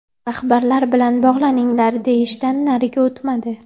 Rahbarlar bilan bog‘laninglar”, deyishdan nariga o‘tmadi.